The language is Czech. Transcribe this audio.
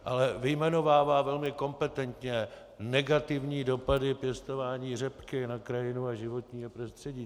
Ale vyjmenovává velmi kompetentně negativní dopady pěstování řepky na krajinu a životní prostředí.